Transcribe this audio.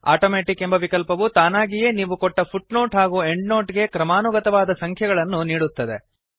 automatic ಎಂಬ ವಿಕಲ್ಪವು ತಾನಾಗಿಯೇ ನೀವು ಕೊಟ್ಟ ಫುಟ್ನೋಟ್ ಹಾಗೂ ಎಂಡ್ನೋಟ್ ಗೆ ಕ್ರಮಾನುಗತವಾದ ಸಂಖ್ಯೆಗಳನ್ನು ನೀಡುತ್ತದೆ